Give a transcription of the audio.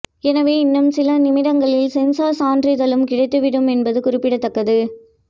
எனவே இன்னும் சில நிமிடங்களில் சென்சார் சான்றிதழும் கிடைத்துவிடும் என்பது குறிப்பிடத்தக்கது